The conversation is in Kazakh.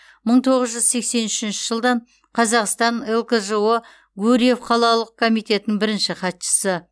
мың тоғыз жүз сексен үшінші жылдан қазақстан лкжо гурьев қалалық комитетінің бірінші хатшысы